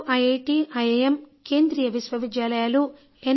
దేశంలో IIT IIM కేంద్రీయ విశ్వవిద్యాలయాలు ఎన్